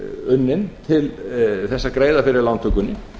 unnin til þess að greiða fyrir lántökunni